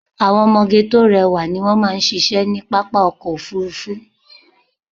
Àwọn ọmọge tó rẹwà ni wón máa ṣíṣe ní pápá ọkọ̀ Òfurufú.